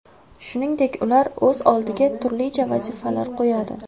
Shuningdek, ular o‘z oldiga turlicha vazifalar qo‘yadi.